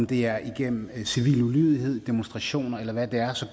det er igennem civil ulydighed demonstrationer eller hvad det er så